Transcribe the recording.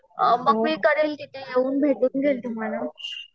अ मग मी तिथे येऊन भेटून घेईन तुम्हाला.